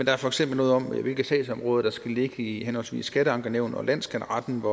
er for eksempel noget om hvilke sagsområder der skal ligge i henholdsvis skatteankenævn og landsskatteretten